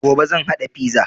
Gobe zan haɗa fiza